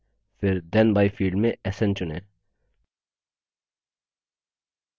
फिर then by field से sn चुनें